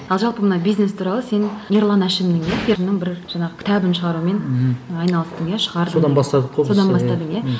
ал жалпы мына бизнес туралы сен ерлан әшімнің бір жаңағы кітабын шығарумен айналыстың иә шығардың содан бастадық қой содан бастадың иә